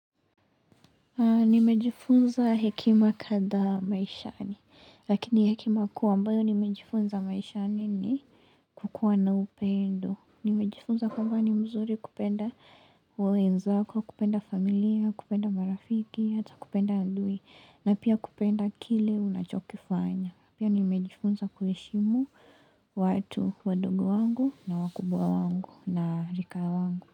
Nimejifunza hekima kadhaa maishani, lakini hekima kuwa ambayo nimejifunza maishani ni kukuwa na upendo. Nimejifunza kwamba ni mzuri kupenda wenzako, kupenda familia, kupenda marafiki, hata kupenda adui, na pia kupenda kile unachokifanya. Pia nimejifunza kuheshimu watu, wadogo wangu, na wakubwa wangu, na rika wangu.